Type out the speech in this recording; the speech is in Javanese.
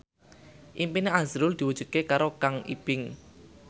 impine azrul diwujudke karo Kang Ibing